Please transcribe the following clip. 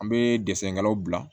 An bɛ dɛsɛw bila